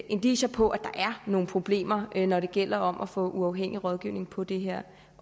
indicier på at der er nogle problemer når det gælder om at få uafhængig rådgivning på det her